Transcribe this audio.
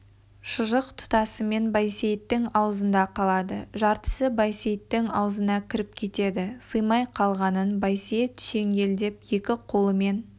шұжық тұтасымен байсейіттің аузында қалады жартысы байсейіттің аузына кіріп кетеді сыймай қалғанын байсейіт шеңгелдеп екі қолымен